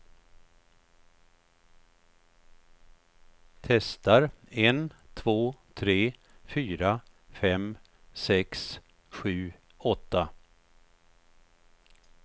Testar en två tre fyra fem sex sju åtta.